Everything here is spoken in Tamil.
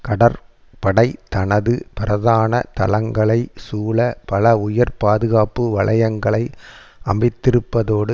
கடற்படை தனது பிரதான தளங்களைச் சூழ பல உயர் பாதுகாப்பு வலயங்களை அமைத்திருப்பதோடு